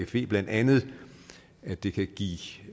fe blandt andet at det kan give